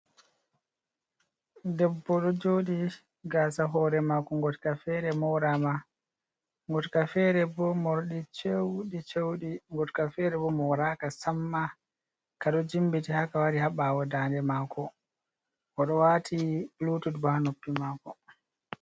Debbo do joɗi gaasa hore mako ngotka fere morama ngotka fere bo mordi cheuɗi cheuɗi ngotka fere bo moraka samma ka ɗo jimmiti haka wari ha ɓawo dande mako oɗo wati bulutud bo ha noppi mako.